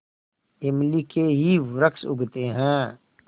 इमली के ही वृक्ष उगते हैं